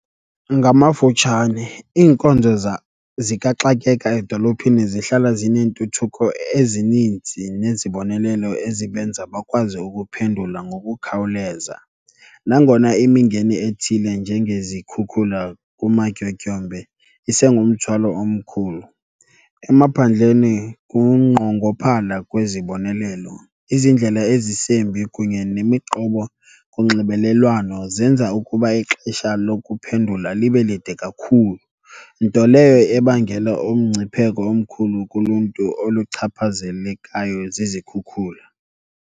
Ngamafutshane, iinkonzo zikaxakeka edolophini zihlala zineentuthuko ezininzi nezibonelelo ezibenza bakwazi ukuphendula ngokukhawuleza, nangona imingeni ethile njengezikhukhula kumatyotyombe isengumthwalo omkhulu. Emaphandleni kunqongophala kwezibonelelo, izindlela ezisembi kunye nemiqobo kunxibelelwano zenza ukuba ixesha lokuphendula libe lide kakhulu. Nto leyo ebangela umngcipheko omkhulu kuluntu oluchaphazelekayo zizikhukhula.